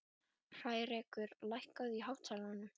Hrærekur, lækkaðu í hátalaranum.